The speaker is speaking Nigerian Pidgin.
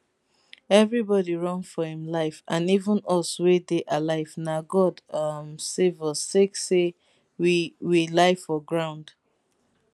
eviribodi run for im life and even us wey dey alive na god um save us sake say we we lie down for ground